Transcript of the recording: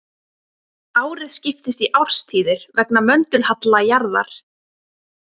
Árið skiptist í árstíðir vegna möndulhalla jarðar.